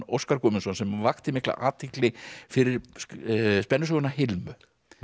Óskar Guðmundsson sem vakti mikla athygli fyrir spennusöguna Hilmu